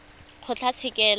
kgotlatshekelo